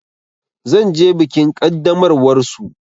Zan je bikin ƙaddamarwar su.